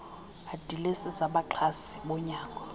adilesi zabaxhasi bonyango